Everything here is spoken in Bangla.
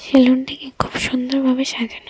সেলুনটিকে খুব সুন্দর ভাবে সাজানো হয়েছে.